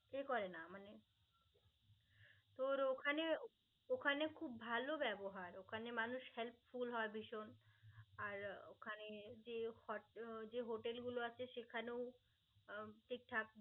এ করে না. মানে তোর ওখানে ওখানে খুব ভালো ব্যবহার. ওখানে মানুষ helpful হয় ভীষণ আর ওখানে যে hot~ যে hotel গুলো আছে সেখানেও আহ ঠিকঠাক.